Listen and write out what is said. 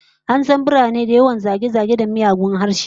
An san birane da yawan zage-zage da miyagun harshe